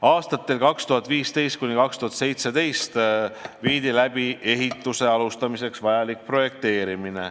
Aastatel 2015–2017 toimus ehituse alustamiseks vajalik projekteerimine.